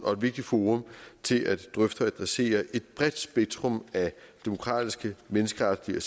og et vigtigt forum til at drøfte og adressere et bredt spektrum af demokratiske menneskeretlige og